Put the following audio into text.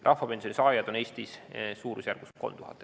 Rahvapensioni saajaid on Eestis praegu suurusjärgus 3000.